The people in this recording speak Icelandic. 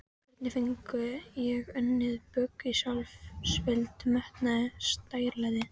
Hvernig fengi ég unnið bug á sjálfsvild, metnaði, stærilæti?